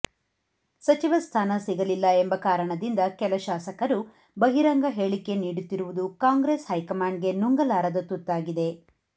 ಸಚಿವ ಸ್ಥಾನ ಸಿಗಲಿಲ್ಲ ಎಂಬ ಕಾರಣದಿಂದ ಕೆಲ ಶಾಸಕರು ಬಹಿರಂಗ ಹೇಳಿಕೆ ನೀಡುತ್ತಿರುವುದು ಕಾಂಗ್ರೆಸ್ ಹೈಕಮಾಂಡ್ ಗೆ ನುಂಗಲಾರದ ತುತ್ತಾಗಿದೆ